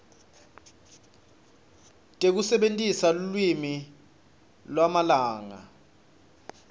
tekusebentisa lulwimi lwamalanga